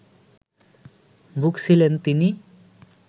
ভুগছিলেন তিনি